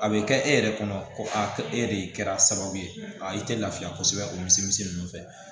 A bɛ kɛ e yɛrɛ kɔnɔ ko ko e de kɛra sababu ye a i tɛ lafiya kosɛbɛ o misi ninnu fɛ